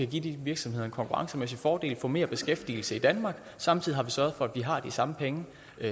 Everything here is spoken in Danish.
give de virksomheder en konkurrencemæssig fordel og få mere beskæftigelse i danmark samtidig har vi sørget for at vi har de samme penge